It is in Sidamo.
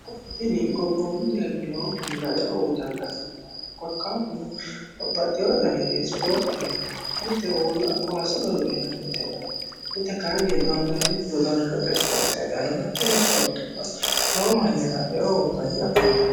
tinni gobboommu deerri lowo mannira eo uyiitanni afantanno korkaatino babbaxxewoo danite isipoorte heedhano mite uulla kowaase godo'linannite hedhano mite kaanni dondanniti dodaanshote isipoorte heedhano isipeertubba lowo mannira eo uyiitanni afantanno.